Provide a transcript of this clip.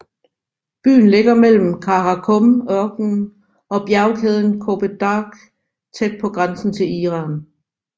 Byen ligger mellem Kara Kum ørkenen og bjergkæden Kopet Dag tæt på grænsen til Iran